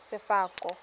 sefako